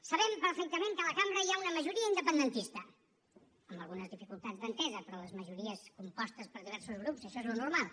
sabem perfectament que a la cambra hi ha una majoria independentista amb algunes dificultats d’entesa però a les majories compostes per diversos grups això és el normal